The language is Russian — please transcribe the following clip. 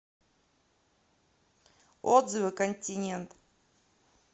отзывы континент